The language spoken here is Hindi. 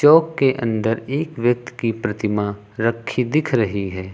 के अंदर एक व्यक्त की प्रतिमा रखी दिख रही है।